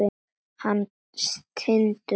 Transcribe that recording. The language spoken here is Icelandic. Hann stynur.